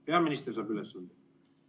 Peaminister saab ülesanded.